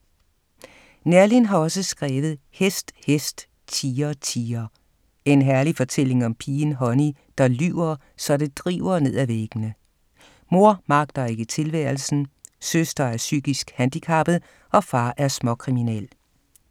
Neerlin har også skrevet Hest, hest, Tiger, tiger. En herlig fortælling om pigen Honey, der lyver, så det driver ned af væggene. Mor magter ikke tilværelsen, søster er psykisk handicappet, og far er småkriminel.